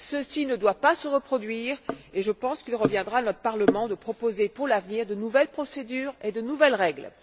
Ceci ne doit pas se reproduire, et je pense qu'il reviendra à notre Parlement de proposer pour l'avenir de nouvelles procédures et de nouvelles règles.